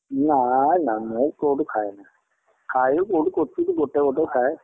ନାଇଁ ନାଇଁ ମୁଁ କୋଉଟା ଖାଏନି। ଖାଏ କୋଉଠି କ୍ଵଚିତ ଗୋଟେ ଗୋଟେ ଖାଏ।